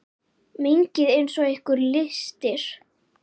Mengið eins og ykkur lystir.